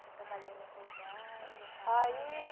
Foi trabalhar em outro lugar, em outra área? aí